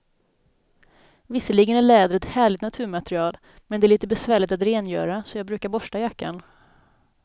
Visserligen är läder ett härligt naturmaterial, men det är lite besvärligt att rengöra, så jag brukar borsta jackan.